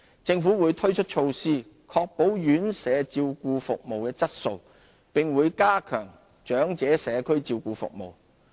政府會推出措施確保院舍照顧服務質素，並會加強長者社區照顧服務。